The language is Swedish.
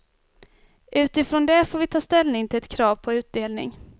Utifrån det får vi ta ställning till ett krav på utdelning.